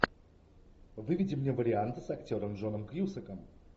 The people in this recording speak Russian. выведи мне варианты с актером джоном кьюсаком